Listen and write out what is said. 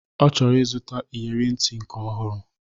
Ọ chọrọ ịzụta iyere ntị nke ọhụrụ